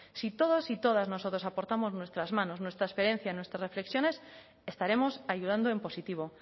si todos y todas nosotros aportamos nuestras manos nuestra experiencia nuestras reflexiones estaremos ayudando en positivo